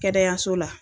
Kɛnɛyaso la